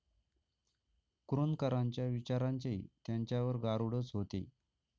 कुरूंदकरांच्या विचारांचे त्यांच्यावर गारूडच होते.